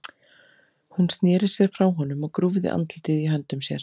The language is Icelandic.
Hún sneri sér frá honum og grúfði andlitið í höndum sér.